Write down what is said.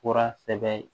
Fura sɛbɛn